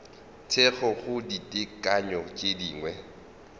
thekgo go ditekanyo tše dingwe